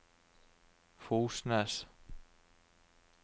Fosnes